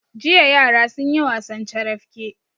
Jiya yara sun yi wasan carafke.